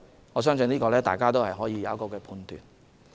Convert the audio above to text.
我相信大家自有判斷。